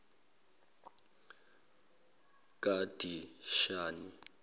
kadishani